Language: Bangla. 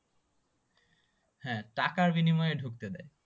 হ্যাঁ টাকার বিনিময়ে ঢুকতে দেয়